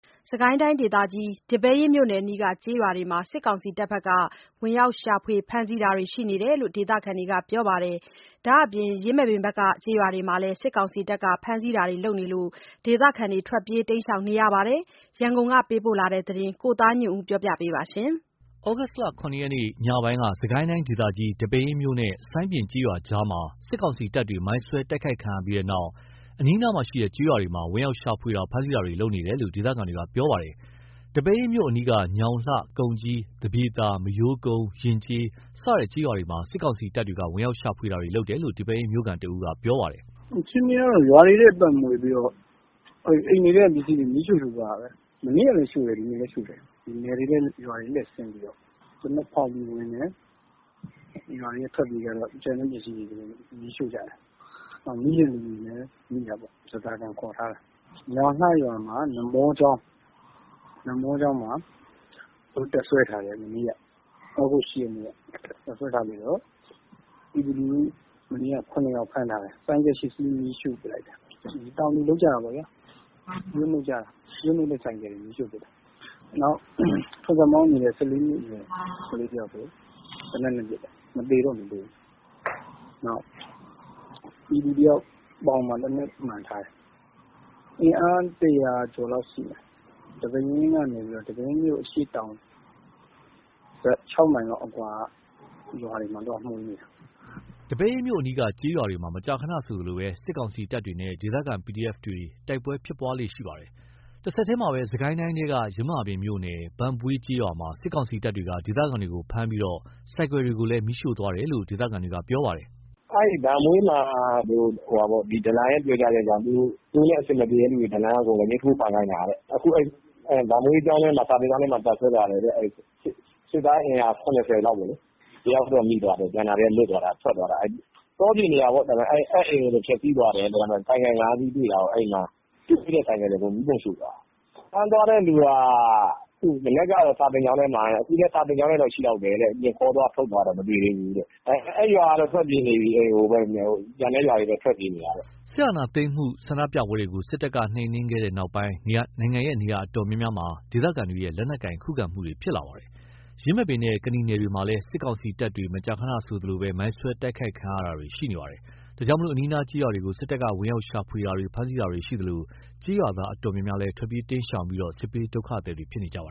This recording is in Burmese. စစ်ကိုင်းတိုင်းဒေသကြီး ဒီပဲယင်းမြို့နယ်အနီးက ကျေးရွာတွေမှာ စစ်ကောင်စီတပ်တွေက ဝင်ရောက်ရှာဖွေ ဖမ်းဆီးတာတွေရှိနေတယ်လို့ ဒေသခံတွေကပြောပါတယ်။ ဒါ့အပြင် ယင်းမာပင်ဘက်က ကျေးရွာတွေမှာလည်း စစ်ကောင်စီတပ်တွေ ဖမ်းဆီးတာတွေ လုပ်နေလို့ ဒေသခံတွေထွက်ပြေးတိမ်းရှောင်နေရပါတယ်။ ရန်ကုန်ကပေးပို့တဲ့သတင်း ကိုသားညွန့်ဦးပြောပြပါမယ်။ သြဂုတ်လ ၇ ရက် ညပိုင်းက စစ်ကိုင်းဒေသကြီး ဒီပဲယင်းမြို့နဲ့ စိုင်ပြင်ကျေးရွာကြားမှာ စစ်ကောင်စီတပ်တွေ မိုင်းစွဲတိုက်ခိုက်ခံရပြီးနောက် အနီးအနားက ကျေးရွာတွေမှာ ဝင်ရောက်ရှာဖွေတာ ဖမ်းဆီးမှုတွေလုပ်နေတယ်လို့ ဒေသခံတွေက ပြောပါတယ်။ ဒီပဲယင်းမြို့အနီးက ညောင်လှ၊ ကုန်ကြီး၊ သပြေသာ၊ မရိုးကုန်း၊ ယဉ်ကျေး စတဲ့ကျေးရွာတွေမှာ စစ်ကောင်စီတပ်တွေက ဝင်ရောက်ရှာဖွေခဲ့တယ်လို့ ဒီပဲယင်းမြို့ခံတဦးက ပြောပါတယ်။ “အခြေအနေက ရွာတွေထဲက ပတ်မွှေပြီးတော့ အိမ်တွေထဲ ပစ္စည်းတွေယူ မီးရှို့သွားတာပဲ။ မနေ့ကလည်း ရှို့တယ်။ ဒီနေ့လည်း ရှို့တယ်။ နယ်တွေရွာတွေထဲ ဆင်းပြီးတော့ သေနတ်ဖောက်ပြီး ဝင်တယ်။ ရွာတွေက ထွက်ပြေးကြတော့ ကျန်တဲ့ပစ္စည်းတွေယူတယ်။ မီးရှို့ကြတယ်။ မိတဲ့သူတွေလည်း မိတာပေါ့။ ဓားစာခံခေါ်ထားတယ်။ ညောင်လှရွာမှာ နမောကျောင်း- နမောကျောင်းမှာ တပ်စွဲထားတယ်။ မနေ့က တပ်စွဲထားတယ်။ တပ်စွဲထားပြီးတော့ ပြည်သူလူထု ၇ ယောက် ဖမ်းထားတယ်။ မနေ့က ဆိုင်ကယ် ၈ စီးမီးရှို့လိုက်တယ်။ တောင်သူ ပျိုးနှုတ်တဲ့ ဆိုင်ကယ်တွေ မီးရှို့ကြတယ်။ နောက်ဆိုင်ကယ် မောင်းနေတဲ့ ၁၄ နှစ်အရွယ် ကလေးတယောက်ဆို ဆိုင်ကယ်မောင်းနေရင်း သေနတ်နဲ့ အပစ်ခံရတယ်။ သေတော့မသေဘူး။ နောက်ပြည်သူတယောက် ပေါင်မှာ သေနတ်မှန်ထားတယ်။ အင်အား ၁၀၀ ကျော်လောက်ရှိမယ်။ ဒီပဲယင်းမြို့ ၆ မိုင်လောက်အကွာ ရွာတွေမှာ ခြေလျင် သွားမွှေနေတာ။” ဒီပဲယင်းမြို့အနီးက ကျေးရွာတွေမှာ မကြာခဏဆိုသလို စစ်ကောင်စီတပ်တွေနဲ့ ဒေသခံ PDF တွေ မကြာခဏ ဆိုသလို တိုက်ပွဲဖြစ်ပွားနေတာပါ။ တဆက်တည်းမှာပဲ စစ်ကိုင်းတိုင်းထဲက ယင်းမာပင်မြို့နယ် ဘန့်ဘွေးကျေးရွာမှာ စစ်ကောင်စီတပ်တွေက ဒေသခံတွေကို ဖမ်းဆီးပြီး ဆိုင်ကယ်တွေကိုလည်း မီးရှို့သွားတယ်လို့ ဒေသခံတွေက ပြောပါတယ်။ “ဘန့်ဘွေးမှာ ဒလံရဲ့ပြောကြားချက်ကြောင့် သူတို့နဲ့အဆင်မပြေတဲ့ သူတွေကို ဒလံက အကုန်လက်ညှိုးထိုးဖမ်းခိုင်းတာ အခုဘန့်ဘွေးစာသင်ကျောင်းထဲမှာ တပ်စွဲထားတယ်။ စစ်သား အင်အား ၇၀ လောက်က တယောက်တော့မိသွားတယ်။ ကျန်တာတွေက လွတ်သွားတယ်။ ထွက်ပြေးတာ တောပြင်နေရာတွေကိုပေါ့။ အဲ့အိမ်ကိုတော့ ဖျက်ဆီးသွားတယ်။ ဆိုင်ကယ် ၅ စီးတွေ့တာ၊ တွေ့တဲ့ ဆိုင်ကယ်တွေကို မီးပုံရှို့သွားတယ်။ ဖမ်းသွားတဲ့သူက မနက်က စာသင်ကျောင်းထဲမှာ။ အခုလည်း စာသင်ကျောင်းထဲ ရှိလောက်တယ်။ ခေါ်သွားထုတ်သွားတာတော့ မတွေ့သေးဘူး။ အဲ့ရွာကတော့ ထွက်ပြေးနေရပြီ။ ကျန်တဲ့ရွာတွေလည်း ထွက်ပြေးနေတာ။” စစ်အာဏာသိမ်းမှုဆန္ဒပြပွဲတွေကို စစ်တပ်က နှိမ်နင်းခဲ့တဲ့နောက် နိုင်ငံနေရာအတော်များများမှာ ဒေသခံတွေရဲ့ လက်နက်ကိုင်ခုခံမှုတွေဖြစ်လာပါတယ်။ ယင်းမာပင်နဲ့ ကနီနယ်တွေမှာလည်း စစ်ကောင်စီတပ်တွေ မကြာခဏဆိုသလို မိုင်းဆွဲတိုက်ခိုက်ခံရတာတွေ ရှိနေပါတယ်။ ဒါကြောင့် အနီးအနားကျေးရွာတွေကို စစ်တပ်ကဝင်ရောက်ရှာဖွေတာတွေ ဖမ်းဆီးတာတွေရှိသလို၊ ကျေးရွာသားအတော်များများလည်း ထွက်ပြေးတိမ်းရှောင်ပြီး စစ်ဘေးဒုက္ခသည်တွေဖြစ်နေကြပ